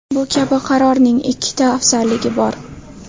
Bu kabi qarorning ikkita afzalligi bor.